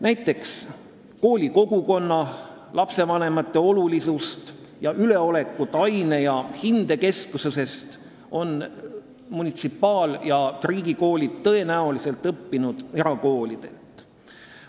Näiteks, koolikogukonna ja lastevanemate olulisust ning üleolekut aine- ja hindekesksusest on munitsipaal- ja riigikoolid tõenäoliselt õppinud erakoolidelt.